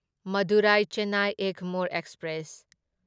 Madurai Chennai Egmore express